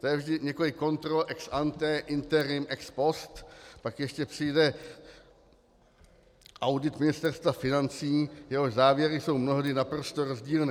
To je vždy několik kontrol ex ante, interim, ex post, pak ještě přijde audit Ministerstva financí, jehož závěry jsou mnohdy naprosto rozdílné.